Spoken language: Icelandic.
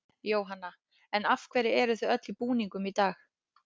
Jóhanna: En af hverju eruð þið öll í búningum í dag?